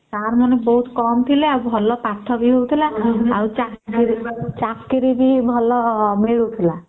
ସାର ମାନେ ବହୁତ କାମ ଥିଲେ ଭଲ ପାଠ ବି ଥିଲା ଆଉ ଚାକିରୀ ବି ଭଲ ମିଳୁଥିଲା